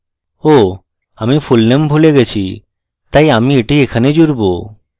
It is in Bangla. oh! আমি fullname ভুলে গেছি তাই আমি এটি এখানে জুড়ব